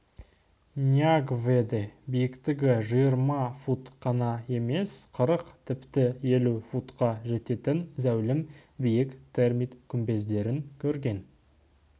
ньянгведе биіктігі жиырма фут қана емес қырық тіпті елу футқа жететін зәулім биік термит күмбездерін көрген